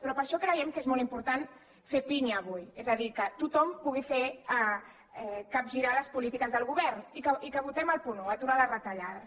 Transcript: però per això creiem que és molt important fer pinya avui és a dir que tothom pugui fer capgirar les polítiques del govern i que votem el punt un aturar les retallades